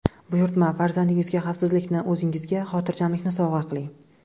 Buyurtma: Farzandingizga xavfsizlikni, o‘zingizga xotirjamlikni sovg‘a qiling!